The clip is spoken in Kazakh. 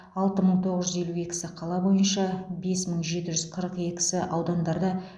алты мың тоғыз жүз елу екісі қала бойынша бес мың жеті жүз қырық екісі аудандарда